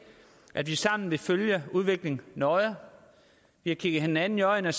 at vi sammen vil følge udviklingen nøje vi har kigget hinanden i øjnene og